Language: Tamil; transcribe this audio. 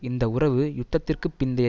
இந்த உறவு யுத்தத்திற்கு பிந்தைய